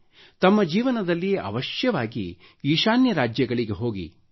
ತಮ್ಮ ಜೀವನದಲ್ಲಿ ಅವಶ್ಯವಾಗಿ ಈಶಾನ್ಯ ರಾಜ್ಯಗಳಿಗೆ ಹೋಗಿರಿ